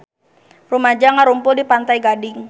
Rumaja ngarumpul di Pantai Gading